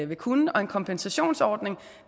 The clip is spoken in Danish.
vil kunne og en kompensationsordning